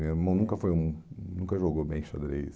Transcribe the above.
Meu irmão nunca foi um nunca jogou bem xadrez.